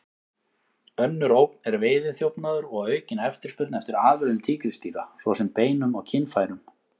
Önnur ógn er veiðiþjófnaður og aukin eftirspurn eftir afurðum tígrisdýra, svo sem beinum og kynfærum.